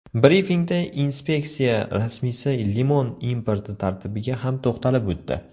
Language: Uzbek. Brifingda inspeksiya rasmiysi limon importi tartibiga ham to‘xtalib o‘tdi.